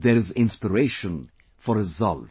There is inspiration for resolve